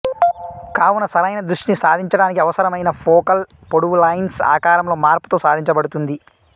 కావున సరైన దృష్టిని సాధించడానికి అవసరమైన ఫోకల్ పొడవు లెన్స్ ఆకారంలో మార్పు తో సాధింపబడుతుంది